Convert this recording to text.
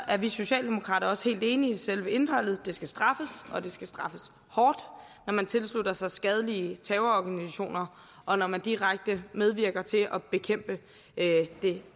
er vi socialdemokrater også helt enige i selve indholdet det skal straffes og det skal straffes hårdt når man tilslutter sig skadelige terrororganisationer og når man direkte medvirker til at bekæmpe